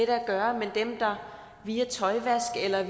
at gøre men dem der via tøjvask eller